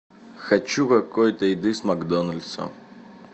хочу какой то еды с макдональдса